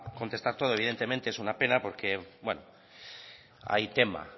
contestar todo evidentemente es una pena porque hay tema